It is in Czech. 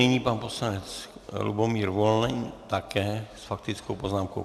Nyní pan poslanec Lubomír Volný, také s faktickou poznámkou.